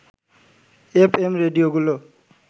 F M রেডিওগুলো